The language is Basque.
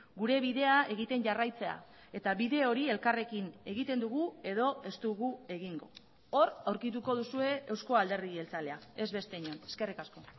gure bidea egiten jarraitzea eta bide hori elkarrekin egiten dugu edo ez dugu egingo hor aurkituko duzue eusko alderdi jeltzalea ez beste inon eskerrik asko